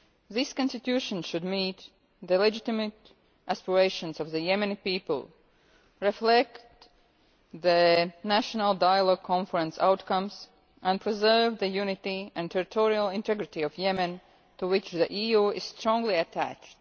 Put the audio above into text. This constitution should meet the legitimate aspirations of the Yemeni people, reflect the NDC outcomes, and preserve the unity and territorial integrity of Yemen, to which the EU is strongly attached.